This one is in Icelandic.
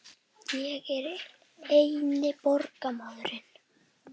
Ég er einnar borgar maður.